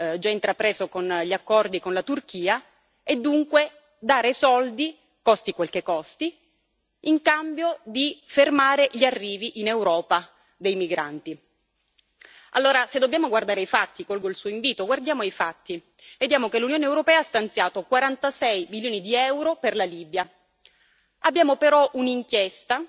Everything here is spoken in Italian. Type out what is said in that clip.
già intrapreso con gli accordi con la Turchia e, dunque, dare soldi, costi quel che costi, purché cessino gli arrivi di migranti in Europa. Allora, se dobbiamo guardare i fatti colgo il suo invito guardiamo ai fatti vediamo che l'Unione europea ha stanziato 46 milioni di EUR per la Libia. Abbiamo però un'inchiesta